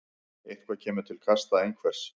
Eitthvað kemur til kasta einhvers